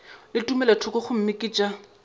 le tumelothoko gomme ke tša